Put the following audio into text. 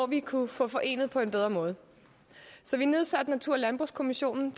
vi kunne få forenet på en bedre måde så vi nedsatte natur og landbrugskommissionen